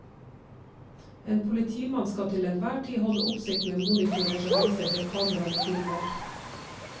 En politimann skal til enhver tid holde oppsikt med monitorer som viser det kameraene filmer.